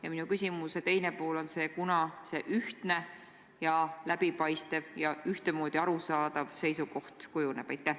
Ja minu küsimuse teine pool on see: kunas ühtne, läbipaistev ja ühtemoodi arusaadav seisukoht kujuneb?